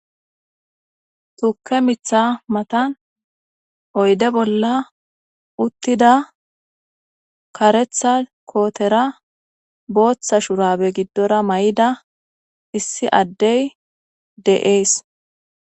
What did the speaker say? Tuke mitha matan oyde bolla uttida karetha kotera botha surabe gidora mayida issi adey de'es